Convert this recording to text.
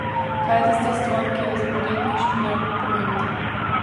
Kaj je tista stvar, ki je za podjetništvo najbolj pomembna?